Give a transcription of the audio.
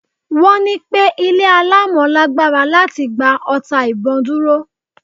Wọ́n ní pẹ́ ilé alámọ̀ lágbára láti gba ọta ìbon dúró.